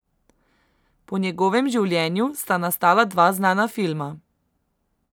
Po njegovem življenju sta nastala dva znana filma.